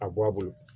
A bɔ a bolo